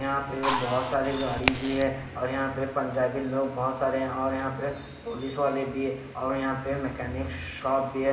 यहाँ पे बहत सारी गाडी भी हैं और यहाँ पे पंजाबी लोग बहत सारे हैं और यहाँ पे पोलिसवाले भी हैं और यहाँ पे मेकानिक शॉप भी है।